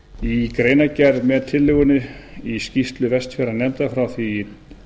í greinargerð með tillögunni í skýrslu vestfjarðanefndar frá því